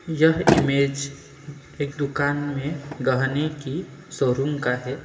यह इमेज एक दुकान में गहने की शोरूम का है।